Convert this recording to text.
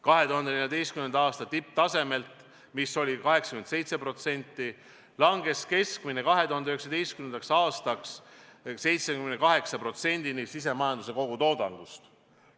2014. aasta tipptasemelt, mis oli 87%, langes keskmine võlakoormus 2019. aastaks 78%-ni SKT-st.